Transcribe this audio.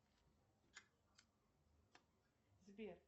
сбер